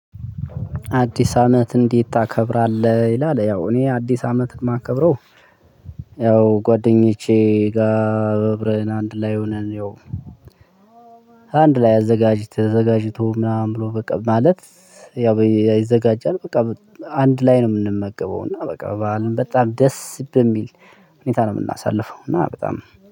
አዲስ አመት እንዴት ታከብራለህ? ይላል ያው እኔ አዲስ አመት ማከብረው ያው ጓደኞቼ ጋር በእብረን አንድ ላይ ሆነን። ያው አንድ ላይ አዘጋጅ ተዘጋጅቶ ምናምን ብሎ በቃ ማለት። ያው ይዘጋጃል በቃ አንድ ላይ ነው ምንመገበው እና በዓልን ደስ በሚል ሁኔታ ነው ምናሳልፈው። እና በጣም